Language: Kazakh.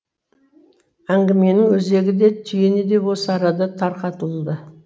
әңгіменің өзегі де түйіні де осы арада тарқатылды